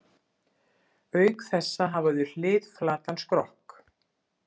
Auk þessa hafa þau hliðflatan skrokk.